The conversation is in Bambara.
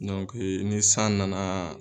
Dɔnke ni san nana